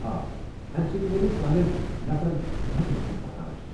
آ، امہِ سۭتۍ میلہِ سانین نفرن مدد یم پکان چھ۔